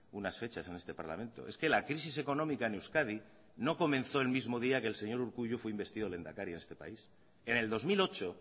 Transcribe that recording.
unas fechas en este parlamento es que la crisis económica en euskadi no comenzó el mismo día que el señor urkullu fue investido a lehendakari a este país en el dos mil ocho